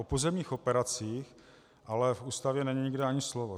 O pozemních operacích ale v Ústavě není nikde ani slovo.